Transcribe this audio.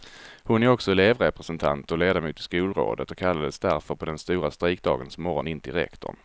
Hon är också elevrepresentant och ledamot i skolrådet och kallades därför på den stora strejkdagens morgon in till rektorn.